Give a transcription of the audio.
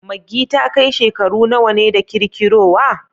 Maggi ta kai shekaru nawa ne da kirkirowa?